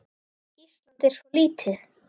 Ísland er svo lítið!